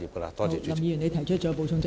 林健鋒議員，你已提出了補充質詢。